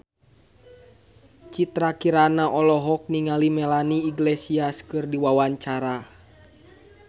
Citra Kirana olohok ningali Melanie Iglesias keur diwawancara